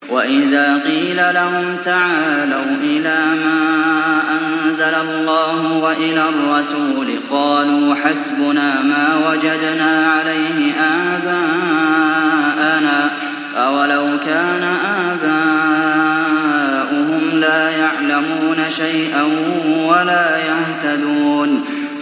وَإِذَا قِيلَ لَهُمْ تَعَالَوْا إِلَىٰ مَا أَنزَلَ اللَّهُ وَإِلَى الرَّسُولِ قَالُوا حَسْبُنَا مَا وَجَدْنَا عَلَيْهِ آبَاءَنَا ۚ أَوَلَوْ كَانَ آبَاؤُهُمْ لَا يَعْلَمُونَ شَيْئًا وَلَا يَهْتَدُونَ